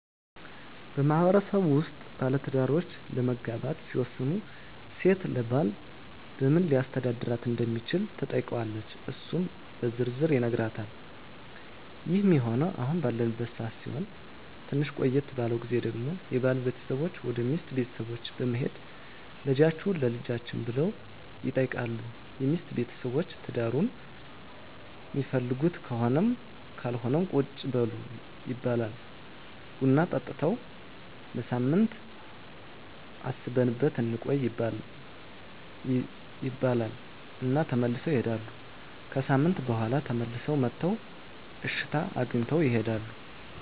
በማህበረሰቡ ውስጥ ባለትዳሮች ለመጋባት ሲወስኑ ሴት ለባል በምን ሊያስተዳድራት እንደሚችል ትጠይቀዋለች እሱም በዝርዝር ይነግራታል ይህ ሚሆነው አሁን ባለንበት ሰዓት ሲሆን ትንሽ ቆየት ባለው ግዜ ደግሞ የባል ቤተሰቦች ወደ ሚስት ቤተሰቦች በመሄድ ልጃቹህን ለልጃችን ብለው ይጠይቃሉ የሚስት ቤተሰቦች ትዳሩን ሚፈልጉት ከሆነም ካልሆነም ቁጭ በሉ ይባላሉ ቡና ጠጥተው ለሳምንት አስበንበት እንቆይ ይባሉ እና ተመልሰው ይሄዳሉ። ከሣምንት በኋላ ተመልሰው መጥተው እሽታ አግኝተው ይሄዳሉ።